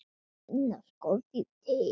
Finna skordýr til?